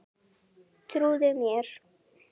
Trúðu mér!